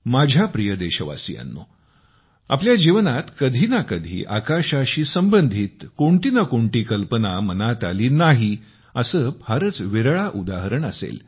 माझ्या प्रिय देशवासियांनो आपल्या जीवनात कधी ना कधी आकाशाशी संबंधित कोणती ना कोणती कल्पना मनात आली नाही असे फारच विरळा उदाहरण असेल